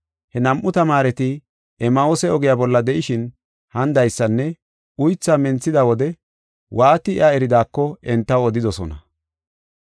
He nam7u tamaareti Emmahuuse ogiya bolla de7ishin hanidaysanne uythaa menthida wode waati iya eridaako entaw odidosona.